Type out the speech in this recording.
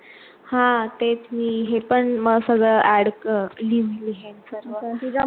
हा तेच मी हे पण सगळं add लिहि लिहिण सर्व